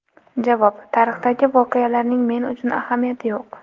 Javob: Tarixdagi voqealarning men uchun ahamiyati yo‘q.